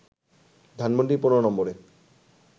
ধানমন্ডি ১৫ নম্বরে